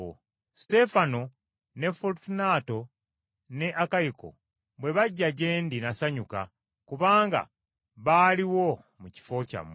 Suteefana ne Folutunaato ne Akayiko bwe bajja gye ndi nasanyuka, kubanga baaliwo mu kifo kyammwe.